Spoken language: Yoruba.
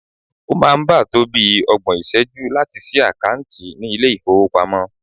O maa n saa ba to bii ogbon iseju lati si akanti ni ile ifowopamo